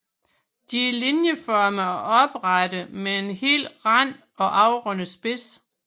De er linjeformede og oprette med hel rand og afrundet spids